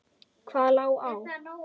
Hvað lá á?